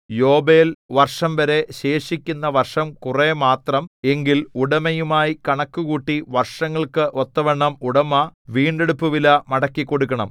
യോബേൽ വർഷംവരെ ശേഷിക്കുന്ന വർഷം കുറെ മാത്രം എങ്കിൽ ഉടമയുമായി കണക്കുകൂട്ടി വർഷങ്ങൾക്ക് ഒത്തവണ്ണം ഉടമ വീണ്ടെടുപ്പുവില മടക്കിക്കൊടുക്കണം